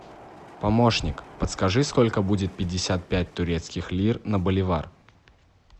помощник подскажи сколько будет пятьдесят пять турецких лир на боливар